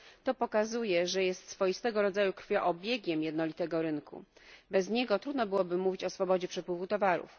To pokazuje, że jest swoistego rodzaju krwioobiegiem jednolitego rynku, bez niego trudno byłoby mówić o swobodzie przepływu towarów.